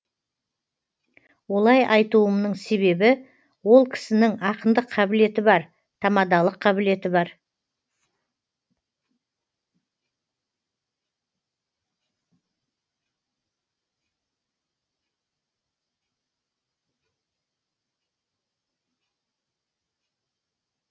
олай айтуымның себебі ол кісінің ақындық қабілеті бар тамадалық қабілеті бар